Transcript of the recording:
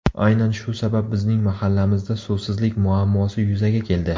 Aynan shu sabab bizning mahallamizda suvsizlik muammosi yuzaga keldi.